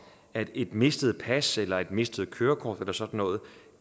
at et mistet pas eller et mistet kørekort eller sådan noget